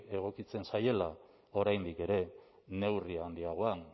egokitzen zaiela oraindik ere neurri handiagoan